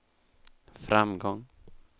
framgång